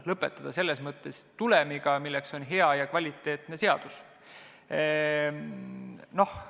Lõpetada saame selles mõttes tulemiga, mis on hea ja kvaliteetne seadus.